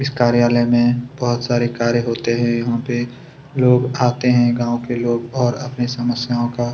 इस कार्यालय में बहुत सारे कार्य होते हैं यहाँ पे लोग आते हैं गाँव के लोग और अपनी समस्याओं का--